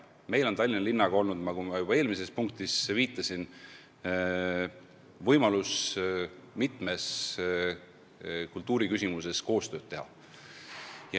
Meil on Tallinna linnaga olnud, nagu ma juba eelmisele küsimusele vastates viitasin, võimalus mitmes kultuuriküsimuses koostööd teha.